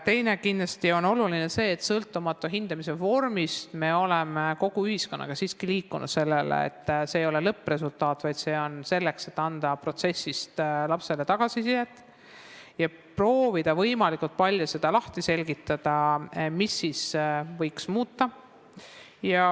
Teiseks on kindlasti oluline see, et hindamise vormist sõltumata me oleme kogu ühiskonnaga siiski liikunud selle poole, et see ei ole lõppresultaat, vaid see on selleks, et anda protsessist lapsele tagasisidet ja proovida võimalikult palju selgitada, mida võiks muuta.